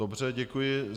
Dobře, děkuji.